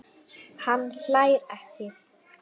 Hann hlær ekki.